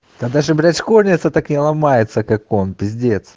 та даже блядь школьница так не ломается как он пиздец